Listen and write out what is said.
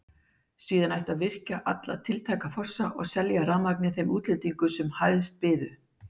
Síðan ætti að virkja alla tiltæka fossa og selja rafurmagnið þeim útlendingum sem hæst byðu.